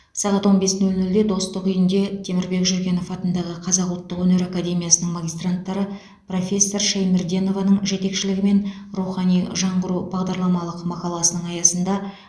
сағат он бес нөл нөлде достық үйінде темірбек жүргенов атындағы қазақ ұлттық өнер академиясының магистранттары профессор м шаймерденованың жетекшілігімен рухани жаңғыру бағдарламалық мақаласының аясында